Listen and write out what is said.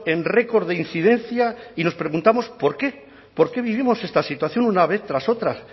en récord de incidencia y nos preguntamos por qué por qué vivimos esta situación una vez tras otra